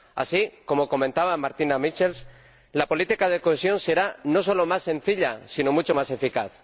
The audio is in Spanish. Así, como comentaba Martina Michels, la política de cohesión será no solo más sencilla, sino mucho más eficaz.